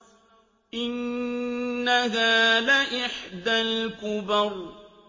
إِنَّهَا لَإِحْدَى الْكُبَرِ